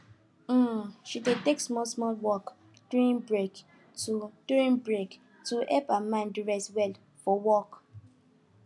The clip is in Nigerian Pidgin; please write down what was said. um she dey take smallsmall walk during break to during break to help her mind rest well for work